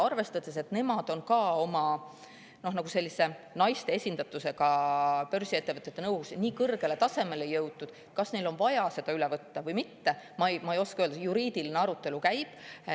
Arvestades, et nad on naiste esindatuse poolest börsiettevõtete nõukogudes nii kõrgele tasemele jõudnud, siis ma ei oska öelda, kas neil on üldse vaja seda üle võtta või mitte, juriidiline arutelu alles käib.